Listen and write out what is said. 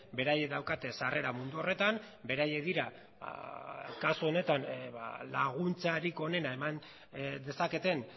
beraiek daukate sarrera mundu horretan beraiek dira kasu honetan laguntzarik onena eman dezaketen